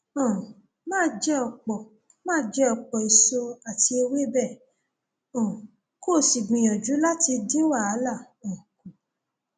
um máa jẹ ọpọ máa jẹ ọpọ èso àti ewébẹ um kó o sì gbìyànjú láti dín wàhálà um kù